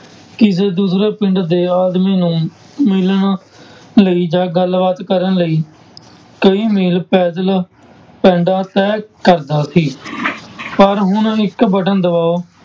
ਕਿਸੇ ਦੂਸਰੇ ਪਿੰਡ ਦੇ ਆਦਮੀ ਨੂੰ ਮਿਲਣ ਲਈ ਜਾਂ ਗੱਲਬਾਤ ਕਰਨ ਲਈ ਕਈ ਮੀਲ ਪੈਦਲ ਪੈਂਡਾ ਤੈਅ ਕਰਦਾ ਸੀ ਪਰ ਹੁਣ ਇੱਕ button ਦਬਾਓ